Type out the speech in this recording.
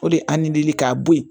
O de a nidili k'a bɔ yen